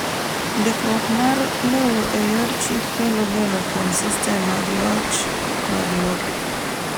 Ndikruok mar lowo e yor chik kelo geno kuom sistem mag loch mag lope.